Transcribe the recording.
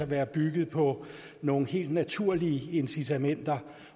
være bygget på nogle helt naturlige incitamenter